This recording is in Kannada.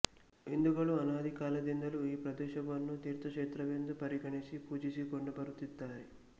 ಹಿಂದೂಗಳು ಅನಾದಿ ಕಾಲದಿಂದಲೂ ಈ ಪ್ರದೇಶವನ್ನು ತೀರ್ಥಕ್ಷೇತ್ರವೆಂದು ಪರಿಗಣಿಸಿ ಪೂಜಿಸಿಕೊಂಡು ಬರುತ್ತಿದ್ದಾರೆ